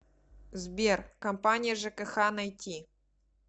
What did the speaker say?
сбер компания жкх найти